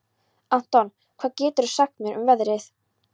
Anton, hvað geturðu sagt mér um veðrið?